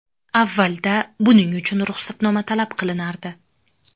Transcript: Avvalda buning uchun ruxsatnoma talab qilinardi.